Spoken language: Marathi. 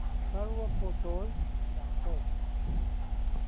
सर्व फोटोझ दाखव